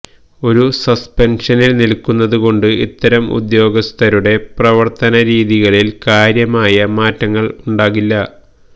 ഒരു സസ്പെൻഷനിൽ നിൽക്കുന്നതുകൊണ്ട് ഇത്തരം ഉദ്യോഗസ്ഥരുടെ പ്രവർത്തനരീതികളിൽ കാര്യമായ മാറ്റങ്ങൾ ഉണ്ടാകില്ല